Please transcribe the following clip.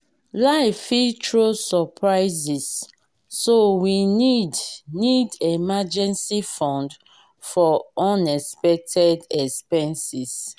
life fit throw surprises so we need need emergency fund for unexpected expenses.